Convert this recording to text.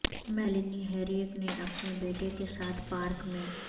Melanie Herrick نے اپنے بیٹے کے ساتھ پارک میں